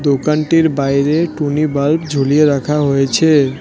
দোকানটির বাইরে টুনি বাল্ব ঝুলিয়ে রাখা হয়েছে।